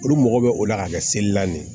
Olu mago bɛ o la ka kɛ seli la nin ye